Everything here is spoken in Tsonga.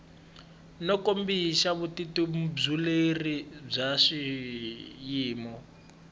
no kombisa vutitumbuluxeri bya xiyimo